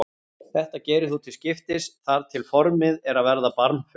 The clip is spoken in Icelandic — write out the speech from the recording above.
Þetta gerir þú til skiptis þar til formið er að verða barmafullt.